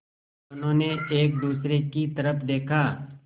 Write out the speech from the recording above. दोनों ने एक दूसरे की तरफ़ देखा